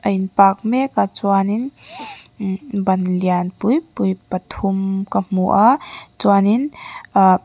in park mek a chuanin imhh ban lianpui pui pathum ka hmu a chuanin ahh--